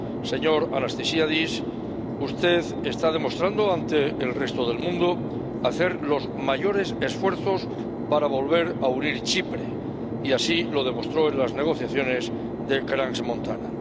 Señor Anastasiades, usted está demostrando ante el resto del mundo que hace los mayores esfuerzos para volver a unir Chipre, y así lo demostró en las negociaciones de Crans Montana.